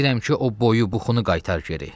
Deyirəm ki, o boyu buxunu qaytar geri.